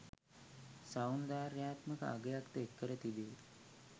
සෞන්දර්යාත්මක අගයක්ද එක් කර තිබේ.